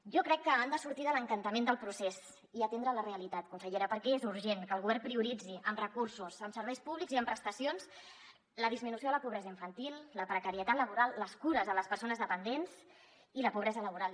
jo crec que han de sortir de l’encantament del procés i atendre la realitat conse·llera perquè és urgent que el govern prioritzi amb recursos amb serveis públics i amb prestacions la disminució de la pobresa infantil la precarietat laboral les cures a les persones dependents i la pobresa laboral